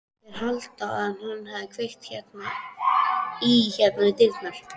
Þeir halda að hann hafi kveikt í hérna við dyrnar.